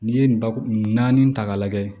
N'i ye nin bakuru naani ta k'a lajɛ